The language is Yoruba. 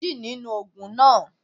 Lo mejì nínú ògùn náà